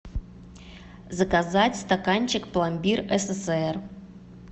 заказать стаканчик пломбир ссср